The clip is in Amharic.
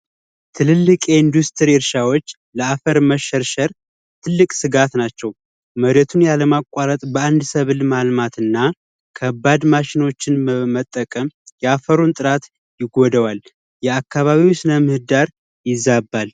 ትልልቅ የ ኢንዱስትሪ እርሻዎች ለአፈር መሸርሸር ስጋት ናቸው መሬቱን ያለማቋረጥ በአንድ ሰብል ማልማትና ከባድ ማሽኖችን መጠቀም ያፈሩን ጥራት ይወደዋል የአካባቢው ስደር ይዛባል